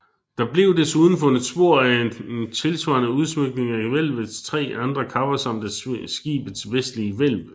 Der blev desuden fundet spor at en tilsvarende udsmykning af hvælvets tre andre kapper samt af skibets vestlige hvælv